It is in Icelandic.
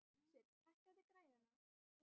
Sveinn, hækkaðu í græjunum.